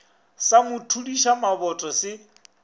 sa mo thudiša maboto se